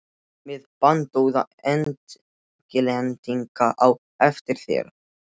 Með bandóða Englendinga á eftir þér.